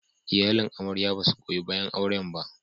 Iyalin amarya ba su goyi bayan auren ba.